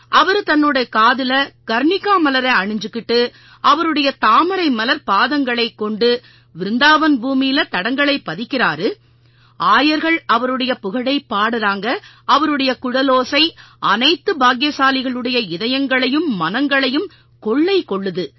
அவரு தன்னோட காதில கர்ணிகா மலரை அணிஞ்சுக்கிட்டு அவருடைய தாமரை மலர்ப் பாதங்களைக் கொண்டு விருந்தாவன் பூமியில தடங்களைப் பதிக்கறாரு ஆயர்கள் அவருடைய புகழைப் பாடுறாங்க அவருடைய குழலோசை அனைத்து பாக்கியசாலிகளுடைய இதயங்களையும் மனங்களையும் கொள்ளை கொள்ளுது